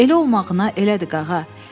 Elə olmağına elədir, Qağa.